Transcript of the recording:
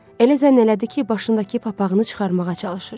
Elə zənn elədi ki, başındakı papağını çıxarmağa çalışır.